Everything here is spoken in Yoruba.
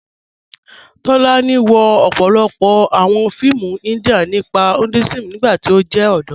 Tólànì wọ̀ ọ̀pọ̀lọ́pọ̀ awọn fíìmù India nípa Hinduism nígbàtí ó jẹ́ ọdọ́.